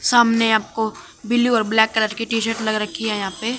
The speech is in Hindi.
सामने आपको ब्लू और ब्लैक कलर की टी शर्ट लग रखी है यहां पे--